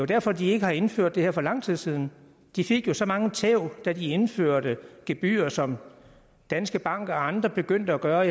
derfor de ikke har indført det her for lang tid siden de fik jo så mange tæv da de indførte gebyrer som danske bank og andre begyndte at gøre og